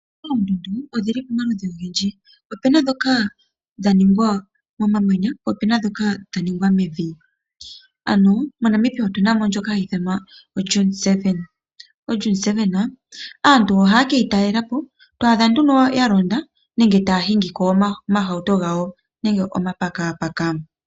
Oondundu odhi li pamaludhi ogendji, opu na ndhoka dha ningwa momamanya, po opu na ndhoka dha ningwa mevi, ano moNamibia otu na mo ndjoka hayi ithanwa oDune 7. ODune 7 aantu ohaye ke yi talela po, to adha nduno aantu ya londa nenge taya hingi ko omahauto gawo nenge omapakapaka.